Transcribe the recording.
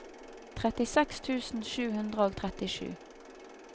trettiseks tusen sju hundre og trettisju